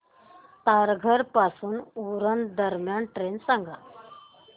तारघर पासून उरण दरम्यान ट्रेन सांगा